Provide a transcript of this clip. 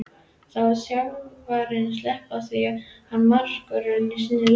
Má þjálfari sleppa því að hafa markvörð í sínu liði?